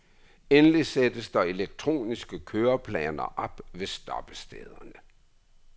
Endelig sættes der elektroniske køreplaner op ved stoppestederne.